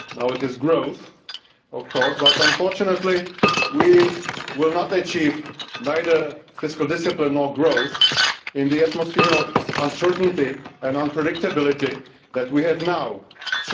Now it is growth of course, but unfortunately we will achieve neither fiscal discipline nor growth in the atmosphere of uncertainty and unpredictability that we now have.